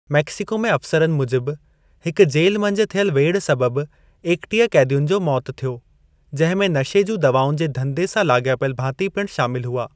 Mexico में अफ़सरनि मूजिब, हिक जेल मंझि थियल वेढ़ि सबबु ऐकटीह कैदियुनि जो मौत थियो, जंहिं में नशे जूं दवाउनि जे धंधे सा लाॻापयिल भाती पिणु शामिल हुआ।